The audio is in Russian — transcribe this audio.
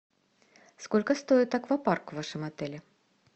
сколько стоит аквапарк в вашем отеле